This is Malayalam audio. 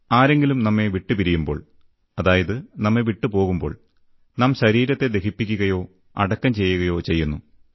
ആരെങ്കിലും നമ്മെ പിരിയുമ്പോൾ അതായത് നമ്മെ വിട്ടുപോകുമ്പോൾ നാം ശരീരത്തെ ദഹിപ്പിക്കുകയോ അടക്കം ചെയ്യുകയോ ചെയ്യുന്നു